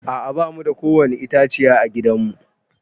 A'a ba mu da kowani itãciya a gidan mu.